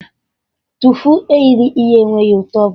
Tofu e ghere eghe enweghị ụtọ ọbụla